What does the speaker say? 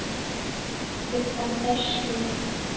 Klukkan er sjö!